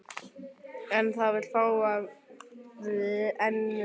En það vill fá að vera í friði.